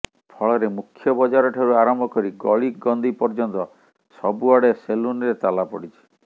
ଫଳରେ ମୁଖ୍ୟ ବଜାର ଠାରୁ ଆରମ୍ଭ କରି ଗଳି କନ୍ଦି ପର୍ଯ୍ୟନ୍ତ ସବୁଆଡେ ସେଲୁନରେ ତାଲାପଡିଛି